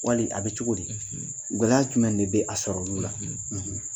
Wali a bɛ cogo di? , Gɛlɛya jumɛn de bɛ a sɔrɔ olu la?